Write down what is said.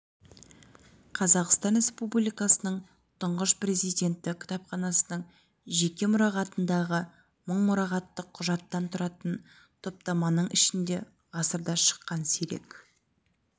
қазақстан республикасының тұңғыш президенті кітапханасының жеке мұрағатындағы мың мұрағаттық құжаттан тұратын топтаманың ішінде ғасырда шыққан сирек